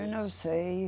Eu não sei.